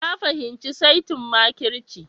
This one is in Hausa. Na fahimci saitin makirci